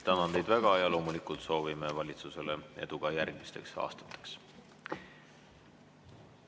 Tänan teid väga ja loomulikult soovime valitsusele edu ka järgmisteks aastateks.